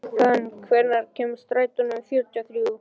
Fönn, hvenær kemur strætó númer fjörutíu og þrjú?